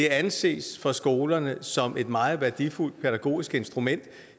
anses af skolerne som et meget værdifuldt pædagogisk instrument